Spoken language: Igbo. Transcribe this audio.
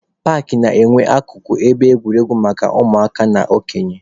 Paakị na-enwe akụkụ ebe egwuregwu maka ụmụaka na okenye.